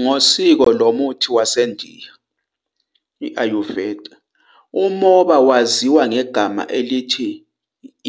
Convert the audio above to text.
Ngokwesiko lomuthi waseNdiya, āyurveda, umoba waziwa ngegama elithi